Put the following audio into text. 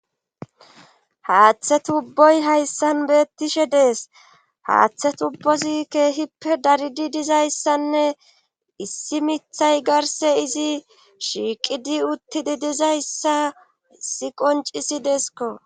Haaththe tubboy hayssan beettishe dees haaththe tubbozi keehippe daridi dizayssanne issi mithay garse izi shiiqidi uttidi dizayssa si qoncisi deeskko